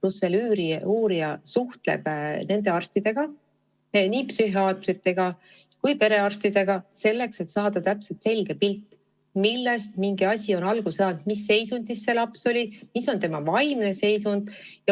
Lisaks suhtleb uurija ka nende arstidega, nii psühhiaatrite kui ka perearstidega, et saada täpne pilt selle kohta, millest mingisugune asi on alguse saanud ja milline on selle lapse vaimne seisund.